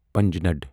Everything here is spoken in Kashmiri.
پنجناد